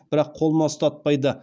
бірақ қолыма ұстатпайды